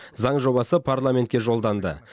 заң жобасы парламентке жолданды